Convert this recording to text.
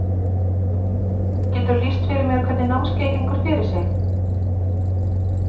Geturðu lýst fyrir mér hvernig námskeiðið gengur fyrir sig?